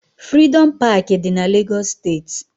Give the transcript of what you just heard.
Frịdọm Pááki dị na Lagos steeti